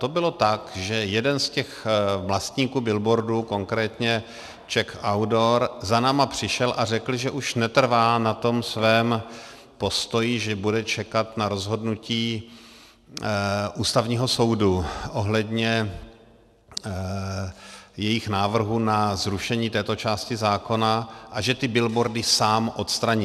To bylo tak, že jeden z těch vlastníků billboardů, konkrétně Czech Outdoor, za námi přišel a řekl, že už netrvá na tom svém postoji, že bude čekat na rozhodnutí Ústavního soudu ohledně jejich návrhu na zrušení této části zákona, a že ty billboardy sám odstraní.